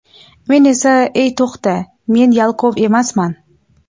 Men esa ey to‘xta, men yalqov emasman.